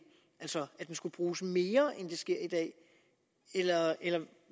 altså at den skulle bruges mere end det sker i dag eller